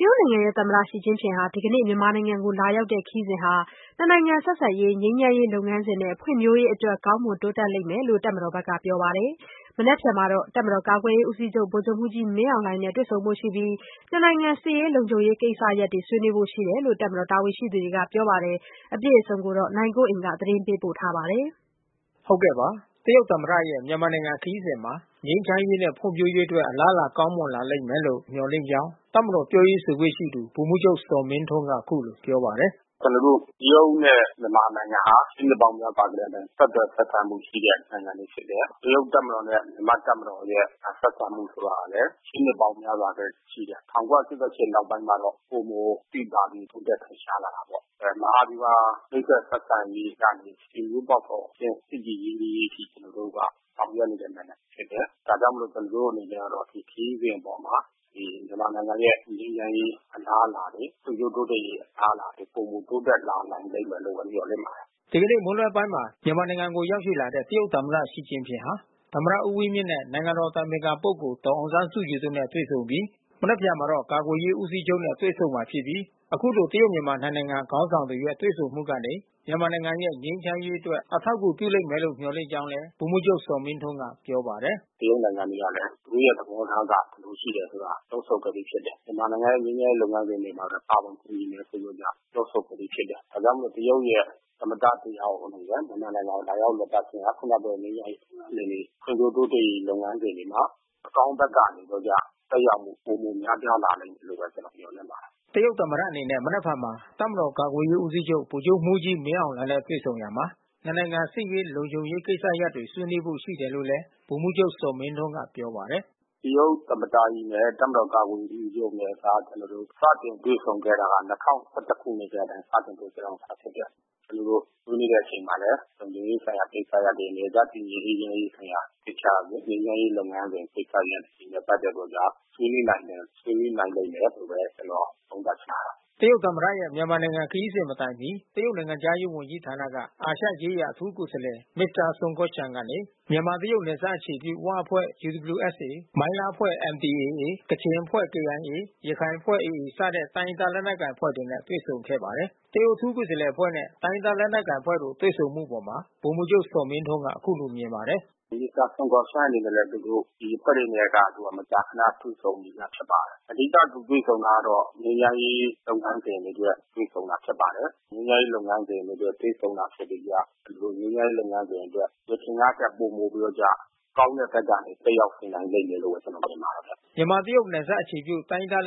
တရုတ်နိုင်ငံသမ္မတ Xi Jinping ဒီကနေ့မြန်မာနိုင်ငံကို လာရောက်တဲ့ခရီးစဉ်ဟာ နှစ်နိုင်ငံ ဆက်ဆံရေး ငြိမ်းချမ်းရေး လုပ်ငန်းစဉ်နဲ့ဖွံ့ဖြိုးရေးအတွက် ကောင်းမွန်တိုးတက်လာလိမ့်မယ်လို့ တပ်မတော်ဘက်ကပြောပါတယ်။ မနက်ဖြန်မှာ ကာကွယ်ရေးဦးစီးချုပ် ဗိုလ်ချုပ်မှူးကြီး မင်းအောင်လှိုင်နဲ့တွေ့ဆုံရာမှာ နှစ်နိုင်ငံစစ်ရေးလုံခြုံရေးကိစ္စရပ်တွေ ဆွေးနွေးဖို့ ရှိတယ်လို့ တပ်မတော်တာဝန်ရှိသူတွေက ပြောပါတယ်။ ဗွီအိုအေမြန်မာပိုင်းသတင်းထောက် နိုင်ကွန်းအိန်ကနေ ဆက်သွယ်မေးမြန်း သတင်းပေးပို့ထားပါတယ်။ တရုတ်သမ္မတရဲ့မြန်မာ နိုင်ငံခရီးစဉ်မှာ ငြိမ်းချမ်းရေးနဲ့ဖွံ့ဖြိုးရေးအတွက် အလားလာကောင်းမွန်လာလိမ့်မယ်လို့ မျှော်လင့်ကြောင်း တပ်မတော်ပြောရေးဆို ခွင့်ရှိသူ ဗိုလ်မှူးချုပ်ဇော်မင်းထွန်း ကအခုလိုပြော ပါတယ်။ “ကျွန်တော်တို့တရုတ်နဲ့မြန်မာနိုင်ငံဟာ ရှေးနှစ်ပေါင်းများစွာကတည်းက ဆက်သွယ်ဆက်ဆံမှုရှိတဲ့နိုင်ငံတွေဖြစ်တယ်။ တရုတ်တပ်မတော်နဲ့မြန်မာ့တပ်မတော်ရဲ့ ဆက်ဆံမှုဆိုတာကလဲ ရှေးနှစ်ပေါင်းများစွာကတည်းကရှိတယ်။ မှာ တော့ ပိုမိုသိသာ တိုးတက်ထင်ရှားလာတာပေါ့။ မဟာဗျူဟာမိတ်ဖက်ဆက်ဆံရေးကနေ ဆွေမျိုးပေါက်ဖေါ်အဆင့် ချစ်ကြည်ရင်နှီးရေးအဆင့်ထိ ကျွန်တော်တို့က ဆောင်ရွက်နေတဲ့နိုင်ငံဖြစ်တယ်။ ဒါကြောင့်မို့လို့ ကျွန်တော်တို့ကတော့ ဒီခရီးစဉ်အပေါ်မှာ မြန်မာနိုင်ငံရဲ့ငြိမ်းချမ်းရေး အလားလာတွေ ဖွံ့ဖြိုးတိုးတက်ရေး အလားအလာတွေ ပိုမိုတိုးတက်လာ လိမ့်မယ်လို့မျှော်လင့်ပါတယ်။” ဒီကနေ့မွန်းလွှဲပိုင်းမှာ မြန်မာနိုင်ငံကိုလာရောက်တဲ့ တရုတ်သမ္မတ ရှီကျင်ဖျင်ဟာ သမ္မတ ဦးဝင်းမြင့်နဲ့ နိုင်ငံတော် အတိုင်ပင်ခံပုဂ္ဂိုလ် ဒေါ်အောင်ဆန်းစုကြည်တို့နဲ့တွေ့ဆုံ ပြီး မနက်ဖြန်မှာ တော့ ကာကွယ်ရေး ဦးစီးချုပ်နဲ့ တွေ့ဆုံ မှာ ဖြစ်ပြီး အခုလို တရုတ်မြန်မာနှစ်နိုင်ငံ ခေါင်းဆောင်တွေရဲ့ တွေ့ ဆုံမှုကနေ မြန်မာနိုင်ငံ ငြိမ်းချမ်းရေး အတွက်အထောက် အကူပြု လိမ့်မယ် လို့မျှော်လင့်ကြောင်း လည်း ဗိုလ်မှူးချုပ်ဇော်မင်းထွန်းကပြောပါတယ်။ “တရုတ်နိုင်ငံက သူတို့သဘောထားက ဘယ်လိုရှိတယ်ဆိုတာ နှုတ်ထုတ်ခဲ့ပြီးဖြစ်တယ်။ မြန်မာနို်င်ငံရဲ့ငြိမ်းချမ်းရေး လုပ်ငန်းစဉ်တွေမှာ ပါဝင်ကူညီမယ်ဆိုပြီးတော့က နှုတ်ထုတ် ထားပြီးဖြစ်တယ်။ ဒါကြောင့်မို့တရုတ်ရဲ့ သမ္မတတယောက် အနေနဲ့မြန်မာနိုင်ငံကို လာရာက် လည်ပတ်ခြင်းဟာ ခုနပြောတဲ့ငြိမ်းချမ်းရေးလုပ်ငန်းစဉ်တွေ ဖွံ့ဖြိုးတိုးတက်ရေးလုပ်ငန်း စဉ်တွေမှာ အကောင်းဘက်ကနေပြီးတော့က သက်ရောက်မှု ပိုမိုများပြား လာလိမ့်မယ်လို့ကျွန်တော်မျှော်လင့်ပါတယ်။” တရုတ်သမ္မတအနေနဲ့ မနက်ဖြန်မှာတပ်မတော်ကာကွယ်ရေးဦးစီးချုပ် ဗိုလ်ချုပ်မှူးကြီး မင်းအောင်လှိုင် နဲ့ တွေ့ဆုံရာမှာ နှစ်နိုင်ငံ စစ်ရေး လုံခြုံရေး ကိစ္စရပ်တွေေ ဆွေးနွေးဖို့ ရှိတယ်လို့လဲ ဗိုလ်မှူးချုပ် ဇော်မင်းထွန်းက ပြောပါတယ်။ “တရုတ်သမ္မတနဲ့ တပ်မတော်ကာကွယ်ရေးဦးစီးချုပ်နဲ့ကကျွန်တော်တို့ စတင်တွေ့ဆုံ ခဲ့တာက ခုနှစ်က စတင် တွေ့ ဆုံခဲ့တာဖြစ်တယ်။ ကျွန်တော်တို့ဆွေးနွေးတဲ့ အချိန်မှာလဲ လုံခြုံရေး ဆိုင်ရာ ကိစ္စရပ်တွေ နယ်စပ်တည်ငြိမ်အေးချမ်း ရေး ကိစ္စရပ်တွေ ငြိမ်းချမ်းရေး လုပ်ငန်းစဉ် ဆိုင်ရာ ကိစ္စရပ်တွေနဲ့ပက်သက်ပြီးတော့ဆွေးနွေးနိုင်မယ်။ ဆွေးနွေးနိုင်လိမ့်မယ်လို့ ကျွန်တော် သုံးသပ်လိုပါတယ်။” တရုတ်သမ္မတရဲ့ မြန်မာနိုင်ငံခရီးစဉ်မတိုင်မှီ တရုတ်နိုင်ငံခြားရေးဝန် ကြီးဌာန အာရှရေးရာအထူးကိုယ် စားလှယ် မစ္စတာဆွန်ကော်ရှန်ကနေ မြန်မာ -တရုတ် နယ်စပ်အခြေပြု‘ဝ’အဖွဲ့ ၊ မိုင်းလားအဖွဲ့ ၊ ကချင်အဖွဲ့ ၊ ရခိုင်အဖွဲ့ စတဲ့တိုင်းရင်းသားလက်နက်ကိုင် အဖွဲ့တွေနဲ့တွေ့ဆုံခဲ့ပါတယ်။ အခုလို တရုတ်အထူးကိုယ်စားလှယ်အဖွဲ့ရဲ့ မြန်မာနိုင်ငံက တိုင်းရင်းသား လက်နက်ကိုင်အဖွဲ့တွေနဲ့တွေ့ဆုံမှု အပေါ် ဗိုလ်မှူးချုပ်ဇော်မင်းထွန်းက အခုလိုမြင်ပါတယ်။ “မစ္စတာဆွန်ကော်ရှန်းအနေနဲ့လဲ သူတို့ ဒီအဖွဲ့အနေနဲ့က သူက မကြာ ခဏတွေ့ဆုံပြီးသား ဖြစ်ပါတယ်။ အဓိက သူတွေ့ဆုံ တာ ကတော့ ငြိမ်းချမ်းရေး လုပ်ငန်းစဉ်တွေအတွက် တွေ့ဆုံတာ ဖြစ်ပါတယ်။ ငြိမ်းချမ်းရေးလုပ်ငန်းစဉ်တွေ အတွက် တွေ့ ဆုံတာဖြစ်တဲ့ကျ ကျွန်တော်တို့ ငြိမ်းချမ်းရေး လုပ်ငန်းစဉ်တွေအတွက် ယခင်ကထက် ပိုမိုပြီးတော့က ကောင်းတဲ့ဘက်ကနေ သက်ရောက် လာနိုင်လိမ့်မယ်လို့ ကျွန်တော်ထင်ပါတယ်။” မြန်မာ-တရုတ် နယ်စပ် အခြေပြု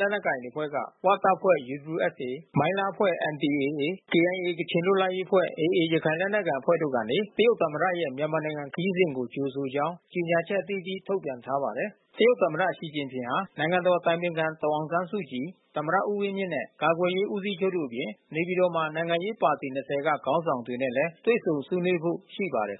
လက်နက်ကိုင်အဖွဲ့တွေအနက်က ဝတပ်ဖွဲ့UWSA၊ မိုင်းလားအဖွဲ့ NDAA နဲ့ KIA ကချင်လွတ်လပ်ရေးအဖွဲ့ AA ရခိုင်လက်နက်ကိုင်အဖွဲ့တို့ကနေ တရုတ်သမ္မတရဲ့ မြန်မာနိုင်ငံခရီး စဉ်ကိုကြိုဆိုကြောင်း ကြေညာချက်အသီးသီးထုတ်ပြန် ထားတာပါ။ တရုတ်သမ္မတ ရှီကျင်ဖျင်ဟာ နိုင်ငံတော်အတိုင်ပင်ခံ ဒေါ်အောင်ဆန်း စုကြည်၊ သမ္မတဦးဝင်းမြင့်နဲ့ ကာကွယ်ရေး ဦးစီးချုပ်တို့အပြင် နေပြည်တော်မှာ နိုင်ငံရေးပါတီ ၂၀ က ခေါင်းဆောင်တွေနဲ့ လည်း တွေ့ဆုံဆွေးနွေးဖို့ရှိပါတယ်